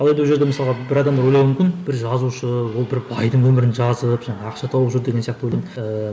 алайда ол жерде мысалға бір адамдар былай ойлауы мүмкін бір жазушы ол бір байдың өмірін жазып жаңағы ақша тауып жүр деген сияқты ойлайды ыыы